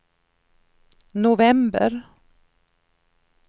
november